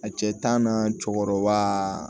A cɛ tan na cɛkɔrɔba